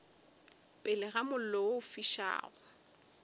pele ga mollo o fišago